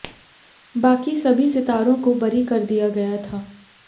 बाकी सभी सितारों को बरी कर दिया गया था